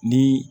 Ni